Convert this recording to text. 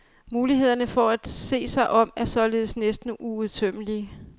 Mulighederne for at se sig om er således næsten uudtømmelige.